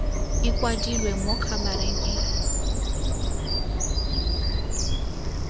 e kwadilwe mo khabareng e